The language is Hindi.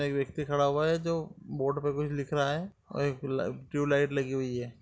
एक व्यक्ति खड़ा हुआ है जो बोर्ड पे कुछ लिख रहा है और एक ल ट्यूबलाइट लगी हुई है।